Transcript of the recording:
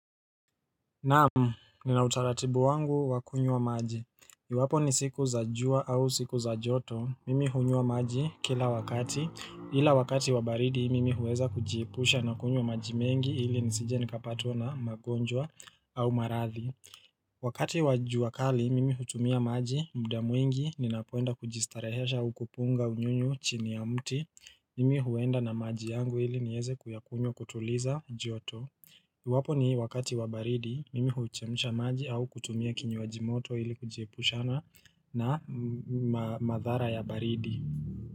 Naam, nina utaratibu wangu wa kunywa maji. Iwapo ni siku za jua au siku za joto. Mimi hunywa maji kila wakati. Ila wakati wa baridi, mimi huweza kujiepusha na kunywa maji mengi ili nisije nikapatwa na magonjwa au marathi. Wakati wa jua kali, mimi hutumia maji muda mwingi, ninapoenda kujistarehesha au kupunga unyunyu chini ya mti. Mimi huenda na maji yangu ili niweze kuyakunywa kutuliza joto. Iwapo ni wakati wa baridi. Mimi huchemsha maji au kutumia kinywaji moto ili kujiepushana na madhara ya baridi.